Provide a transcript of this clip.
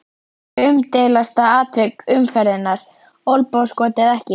Umdeildasta atvik umferðarinnar: Olnbogaskot eða ekki?